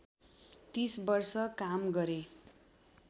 ३० वर्ष काम गरे